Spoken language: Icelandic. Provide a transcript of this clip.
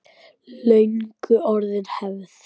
Löngu orðin hefð.